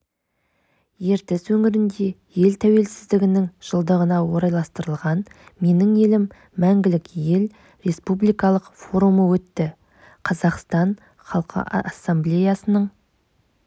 ертіс өңірінде ел тәуелсіздігінің жылдығына орайластырылған менің елім мәңгілік ел республикалық форумы өтті қазақстан халқы ассамблеясының